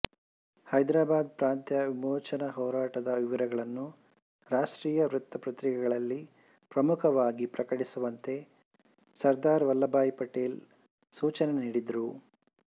ಹೈದರಾಬಾದ್ ಪ್ರಾಂತ್ಯ ವಿಮೋಚನಾ ಹೋರಾಟದ ವಿವರಗಳನ್ನು ರಾಷ್ಟ್ರೀಯ ವೃತ್ತ ಪರ್ತಿಕೆಗಳಲ್ಲಿ ಪ್ರಮುಖವಾಗಿ ಪ್ರಕಟಿಸುವಂತೆ ಸರ್ದಾರ್ ವಲ್ಲಭಭಾಯಿ ಪಟೇಲ್ ಸೂಚನೆ ನೀಡಿದ್ದರು